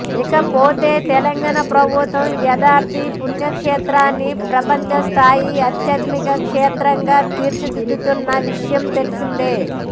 ఇక పోతే తెలంగాణ ప్రభుత్వం యాదాద్రి పుణ్యక్షేత్రాన్ని ప్రపంచస్థాయి ఆధ్యాత్మిక క్షేత్రంగా తీర్చిదిద్దుతున్న విషయం తెలిసిందే